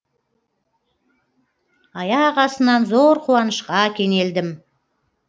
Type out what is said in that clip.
аяқ астынан зор қуанышқа кенелдім